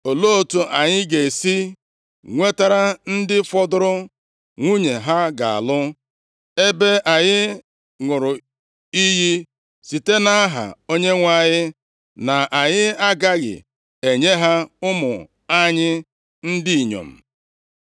Olee otu anyị ga-esi nwetara ndị fọdụrụ nwunye ha ga-alụ ebe anyị ṅụrụ iyi site nʼaha Onyenwe anyị na anyị agaghị enye ha ụmụ anyị ndị inyom?”